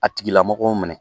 A tigila mɔgɔw minɛ